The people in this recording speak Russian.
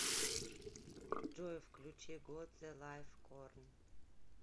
джой включи гот зэ лайф корн